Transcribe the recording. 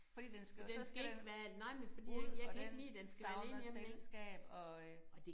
Fordi den skal og så skal den ud og den savner selskab og øh